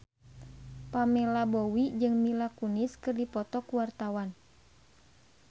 Pamela Bowie jeung Mila Kunis keur dipoto ku wartawan